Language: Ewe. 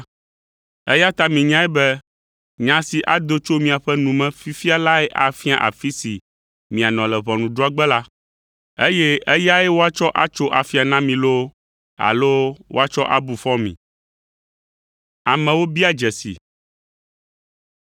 eya ta minyae be nya si ado tso miaƒe nu me fifia lae afia afi si mianɔ le ʋɔnudrɔ̃gbe la, eye eyae woatsɔ atso afia na mi loo, alo woatsɔ abu fɔ mi.”